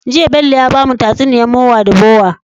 Jiya Bello ya bamu tatsuniyar mowa da bowa